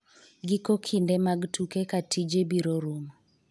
giko kinde mag tuke ka tije biro rumo